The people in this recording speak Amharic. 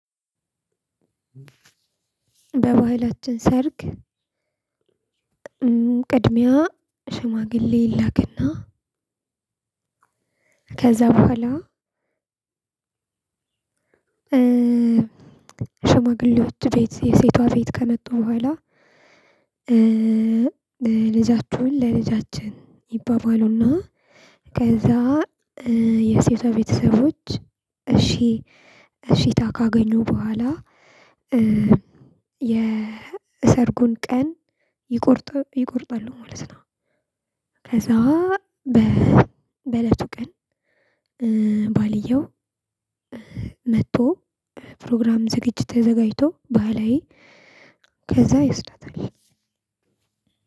በባህላችን ሰርግ ቅድሚያ ሽማግሌ ይላክ። እና ከዛ በኋላ ሽማግሌዎች ቤት የሴቷ ቤት ከመጡ በኋላ ልጃችሁን ለልጃችን ይባባሉ። እና ከዛ የሴቷ ቤተሰቦች። እሺ እሺታ ካገኙ በኋላ የሰርጉን ቀን ይቆርጥ ይቆርጣሉ ማለት ነው። ከዛ በእለቱ ቀን ባልየው መጥቶ ፕሮግራም ዝግጅት ተዘጋጅቶ ባህላዊ ከዛ ይወስዳታል